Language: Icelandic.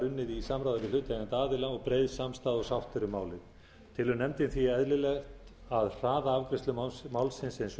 unnið í samráði við hlutaðeigandi aðila og breið samstaða og sátt er um málið telur nefndin því eðlilegt að hraða afgreiðslu málsins eins og